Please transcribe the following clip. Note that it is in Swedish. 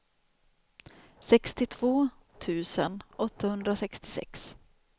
sextiotvå tusen åttahundrasextiosex